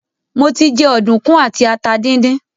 Mo ti jẹ ọ̀dùnkún àti ata díndín.